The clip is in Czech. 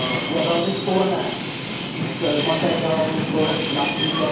Je velmi sporné číst v materiálu, kolik např.